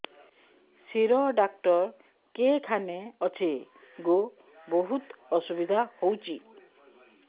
ଶିର doctor କେଖାନେ ଅଛେ ଗୋ ବହୁତ୍ ଅସୁବିଧା ହଉଚି